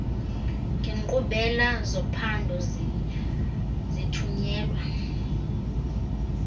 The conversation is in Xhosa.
ngenkqubela zophando zithunyelwa